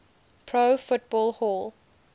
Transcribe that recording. pro football hall